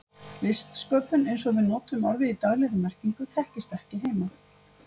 Listsköpun, eins og við notum orðið í daglegri merkingu, þekktist ekki heima.